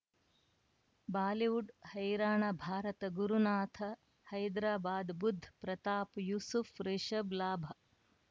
Bollywood ಹೈರಾಣ ಭಾರತ ಗುರುನಾಥ ಹೈದರಾಬಾದ್ ಬುಧ್ ಪ್ರತಾಪ್ ಯೂಸುಫ್ ರಿಷಬ್ ಲಾಭ